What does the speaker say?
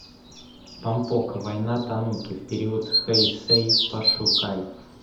помпоко война тануки в период хэйсэй пошукай